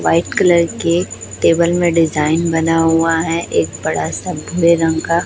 white colour के table में design बना हुआ है एक बड़ा सा ग्रे रंग का--